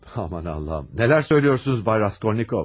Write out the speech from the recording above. Aman Allahım, nələr söyləyirsiniz, Bay Raskolnikov?